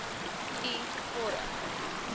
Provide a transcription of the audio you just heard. u vorm